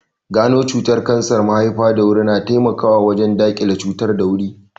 Gano cutar kansar mahaifa da wuri na taimakawa wajen daƙile cutar da wuri